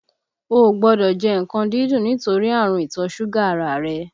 O ò gbọ́dọ̀ jẹ nǹkan dídùn nítorí ààrùn ìtọ́ ṣúgà ara a rẹ!